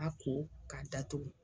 A ko k'a datugu.